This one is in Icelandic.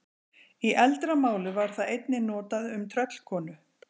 Í eldra máli var það einnig notað um tröllkonu.